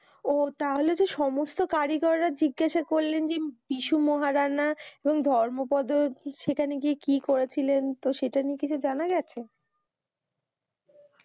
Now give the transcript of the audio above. ওহ তাহলেতো সমস্ত কারিগররা জিজ্ঞাসা করলেন যে যীশু মহারানা ওই ধর্মপদ সেখানে গিয়ে কি করেছিলেন তো সেটা নিয়ে কিছু জানা গেছে